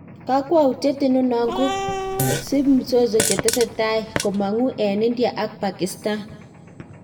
Kaywautiet inano kosipi mzozo chetesetai komangu en India ak Pakistan